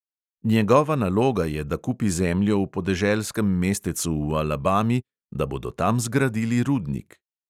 Njegova naloga je, da kupi zemljo v podeželskem mestecu v alabami, da bodo tam zgradili rudnik.